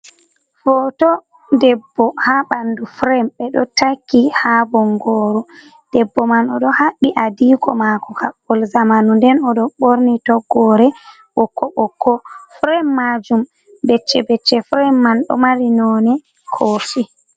Foto ɗebbo ha ɓanɗu frem ɓe ɗo taki ha bongoru, ɗebbo man o ɗo habbit adiko mako kabbol zamanu, nden o ɗo ɓorni toggore ɓokko ɓokko, frem majum becce becce frem man ɗo mari none kofi.